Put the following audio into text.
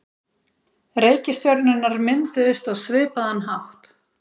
reikistjörnurnar mynduðust á svipaðan hátt